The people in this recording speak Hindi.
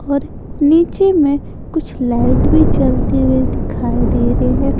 और नीचे में कुछ लाइट भी जलती हुए दिखाई दे रहे है।